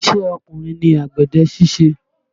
Ìṣe ọkùnrin ni àgbẹ̀dẹ ṣíṣe